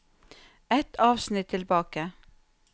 Ett avsnitt tilbake